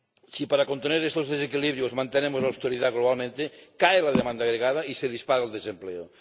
Si para contener estos desequilibrios mantenemos la austeridad globalmente, cae la demanda agregada y se dispara el desempleo.